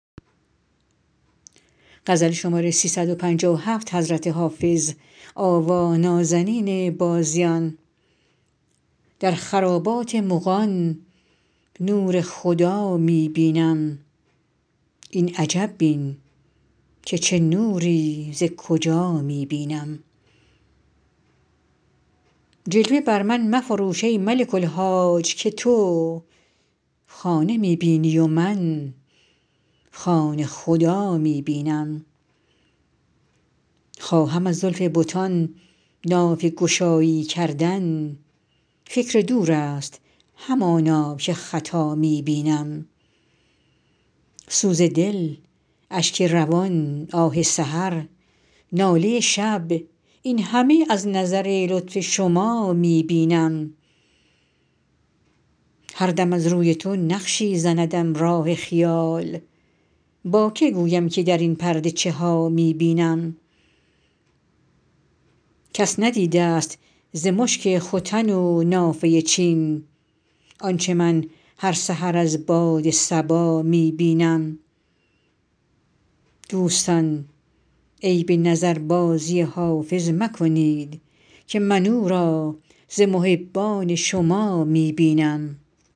در خرابات مغان نور خدا می بینم این عجب بین که چه نوری ز کجا می بینم جلوه بر من مفروش ای ملک الحاج که تو خانه می بینی و من خانه خدا می بینم خواهم از زلف بتان نافه گشایی کردن فکر دور است همانا که خطا می بینم سوز دل اشک روان آه سحر ناله شب این همه از نظر لطف شما می بینم هر دم از روی تو نقشی زندم راه خیال با که گویم که در این پرده چه ها می بینم کس ندیده ست ز مشک ختن و نافه چین آنچه من هر سحر از باد صبا می بینم دوستان عیب نظربازی حافظ مکنید که من او را ز محبان شما می بینم